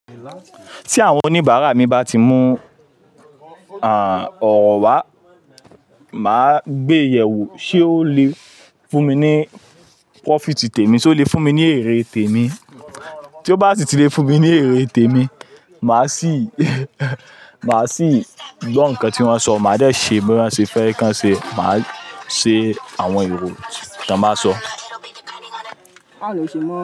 Tí àwọn oníbàárà mi bá ti mú àn, ọ̀rọ́ wa, màá gbéyèwò ṣé ó lè fún mi ní profit tèmi, ṣé ó lè fún mi ní èrè tèmi. Tí ó bá sì ti lè fún mi ní èrè tèmi, màá sì, màá sì gbọ́ nǹkan tí wọ́n ń sọ, màá dé ṣe bí wọ́n ṣe fẹ́ kí a ṣe, màá ṣe àwọn èrò tí wọ́n bá sọ.